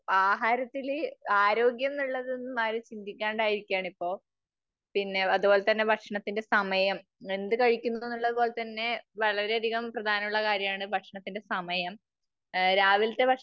ആഹാരത്തില് ആരോഗ്യം എന്നുള്ളത് ആരും ചിന്തിക്കാണ്ട് ആയിരിക്കുകയാണിപ്പോ. പിന്നെ അത്പോലെ തന്നെ ഭക്ഷണതിന്റെ സമയം, എന്തു കഴിക്കുന്നു എന്നുള്ളതുപോലെ തന്നെ വളരെ അധികം പ്രാധാനം ഉള്ള കാര്യമാണ് ഭക്ഷണത്തിന്റെ സമയം. രാവിലത്തെ